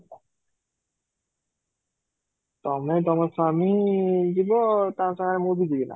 ତୋମେ ତମୋ ସ୍ୱାମୀ ଯିବ ତା ସାଙ୍ଗରେ ମୁଁ ଯିବି ନା?